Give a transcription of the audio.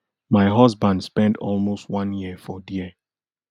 my husband spend almost one year for dia